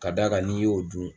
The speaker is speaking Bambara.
Ka d'a kan n'i y'o dun